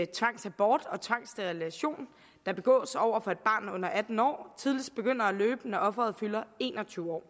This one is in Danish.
tvangsabort og tvangssterilisation der begås over for et barn under atten år tidligst begynder at løbe når offeret fylder en og tyve år